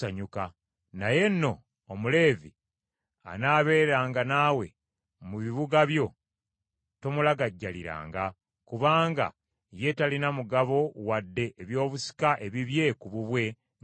Naye nno, Omuleevi anaabeeranga naawe mu bibuga byo tomulagajjaliranga, kubanga ye talina mugabo wadde ebyobusika ebibye ku bubwe nga ggwe.